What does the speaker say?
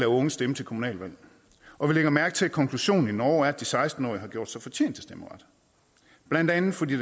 unge stemme til kommunalvalg og vi lægger mærke til at konklusionen i norge er at de seksten årige har gjort sig fortjent til stemmeret blandt andet fordi